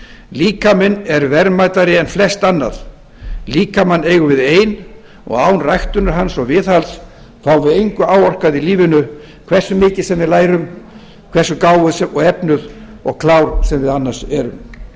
líkaminn er verðmætari en flest annað líkamann eigum við ein og án ræktunar hans og viðhalds fáum við engu áorkað í lífinu hversu mikið sem við lærum hversu gáfuð og efnuð og klár sem við annars erum svo vill til